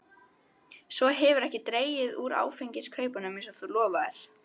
Svo hefurðu ekki dregið úr áfengiskaupunum eins og þú lofaðir.